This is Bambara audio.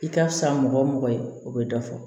I ka fisa mɔgɔ o mɔgɔ ye o bɛ dɔ fɔ